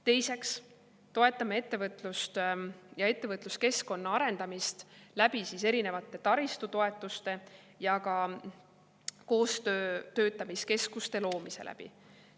Teiseks toetame ettevõtlust ja ettevõtluskeskkonna arendamist erinevate taristutoetuste kaudu ja ka koostöötamiskeskuste loomise kaudu.